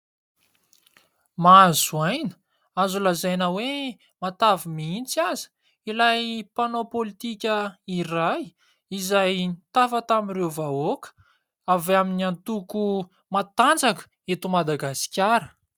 Mahazo aina azo lazaina hoe matavy mihintsy aza ilay mpanao politika iray izay nitafa tamin'ireo vahoaka avy amin'ny antoko matanjaka eto Madagasikara.